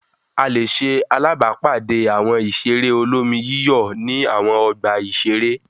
A lè ṣe alábàápàdé Àwọn ìṣeré olómi-yíyọ̀ ní àwọn ọgbà-ìṣeré.